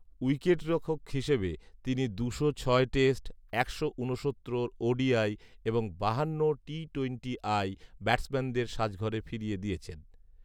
উইকেটরক্ষক হিসেবে তিনি দুশো ছয় টেষ্ট, একশো ঊনসত্তর ওডিআই এবং বাহান্নটি টিটোয়েন্টিআই ব্যাটসম্যানদের সাজঘরে ফিরিয়ে দিয়েছেন